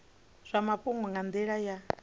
zwa mafhungo nga nila ya